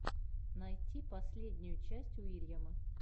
найти последнюю часть уильяма